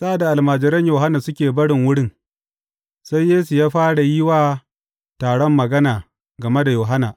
Sa’ad da almajiran Yohanna suke barin wurin, sai Yesu ya fara yi wa taron magana game da Yohanna.